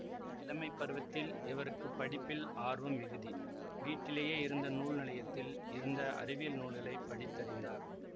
இளமை பருவத்தில் இவர்க்குப் ப்டிப்பில் ஆர்வம் மிகிதி வீட்டிலேயே இருந்த நூல் நிலையத்தில் இருந்த அறிவியல் நூல்களை படித்தறிந்தார்